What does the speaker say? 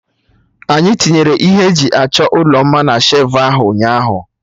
Anyị tinyere ihe eji achọ ụlọ mma na shelfụ ahụ ụnyaahụ